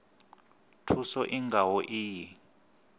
thuso i nga ho iyi